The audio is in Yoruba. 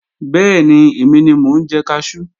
Bẹ́ẹ̀ni, èmi ni mo ń jẹ kaṣú